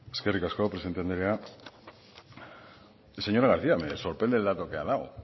eskerrik asko presidente andrea señora garcía me sorprende el dato que ha dado